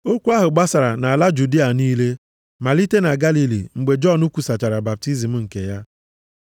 Okwu ahụ gbasara nʼala Judịa niile, malite na Galili mgbe Jọn kwusachara baptizim nke ya.